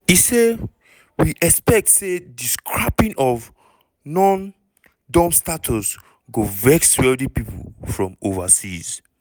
e say: "we expect say di scrapping of non-dom status go vex wealthy people from overseas.